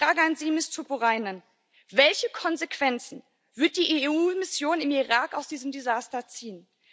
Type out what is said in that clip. Daher meine Frage an Sie, Frau Tuppurainen Welche Konsequenzen wird die EU Mission im Irak aus diesem Desaster ziehen?